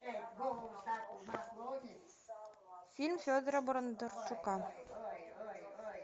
фильм федора бондарчука